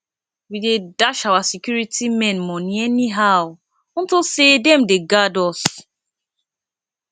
we dey dash our security men money anyhow unto say dem dey guard us